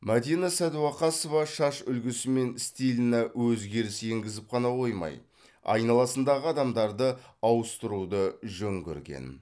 мадина сәдуақасова шаш үлгісі мен стиліне өзгеріс енгізіп қана қоймай айналасындағы адамдарды ауыстыруды жөн көрген